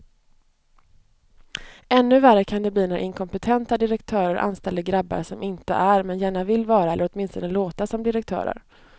Ännu värre kan det bli när inkompetenta direktörer anställer grabbar som inte är, men gärna vill vara eller åtminstone låta som direktörer.